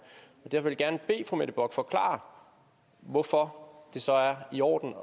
derfor vil jeg gerne bede fru mette bock forklare hvorfor det så er i orden